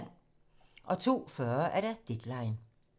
02:40: Deadline